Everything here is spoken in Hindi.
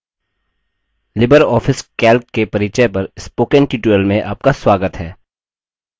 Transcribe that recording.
लिबर ऑफिस calc के परिचय पर spoken tutorial में आपका स्वागत है